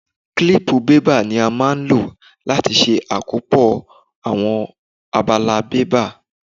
Kílípù bébà ni a máa ń lò láti ṣe àkópọ̀ àwọn abala bébà.